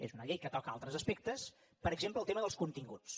és una llei que toca altres aspectes per exemple el tema dels continguts